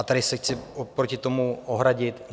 A tady se chci proti tomu ohradit.